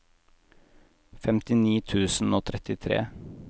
femtini tusen og trettitre